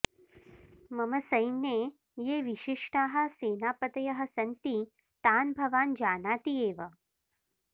मम सैन्ये ये विशिष्टाः सेनापतयः सन्ति तान् भवान् जानाति एव